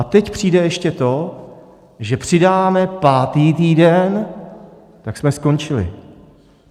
A teď přijde ještě to, že přidáme pátý týden, tak jsme skončili.